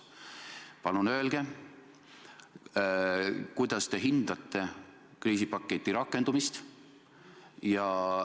Palun öelge, kuidas te hindate kriisipaketi rakendumist.